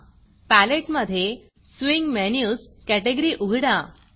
palette मधे swing Menusस्विंग menus category उघडा